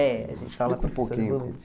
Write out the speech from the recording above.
É, a gente fala professora volante.